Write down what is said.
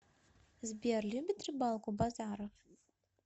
сбер любит рыбалку базаров